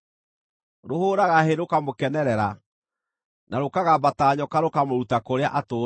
Rũhũũraga hĩ rũkamũkenerera, na rũkagamba ta nyoka rũkamũruta kũrĩa atũũraga.”